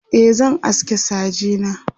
e zan aske saje na